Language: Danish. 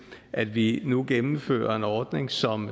at vi nu gennemfører en ordning som